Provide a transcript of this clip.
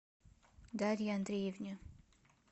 дарье андреевне